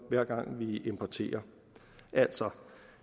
hver gang vi importerer altså